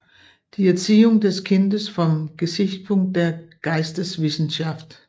Die Erziehung des Kindes vom Gesichtspunkt der Geisteswissenschaft